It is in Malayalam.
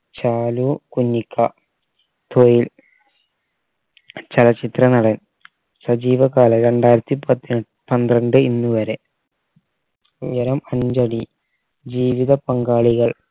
ചാലു കുഞ്ഞിക്ക തൊഴിൽ ചലച്ചിത്ര നടൻ സജീവകാലം രണ്ടായിരത്തി പത്ത് പന്ത്രണ്ട് ഇന്ന് വരെ ഉയരം അഞ്ചടി ജീവിത പങ്കാളികൾ